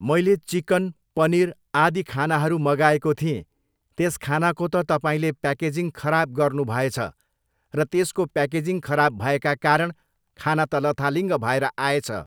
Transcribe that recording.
मैले चिकन, पनिर, आदि खानाहरू मगाएको थिएँ, त्यस खानाको त तपाईँले प्याकेजिङ खराब गर्नु भएछ र त्यसको प्याकेजिङ खराब भएका कारण खाना त लथालिङ्ग भएर आएछ।